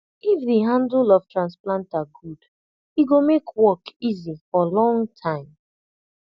if the handle of transplanter good e go make work easy for long time